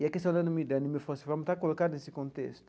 E a questão da anemia, da anemia falciforme, está colocada nesse contexto.